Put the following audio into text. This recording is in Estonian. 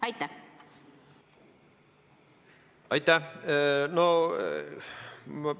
Aitäh!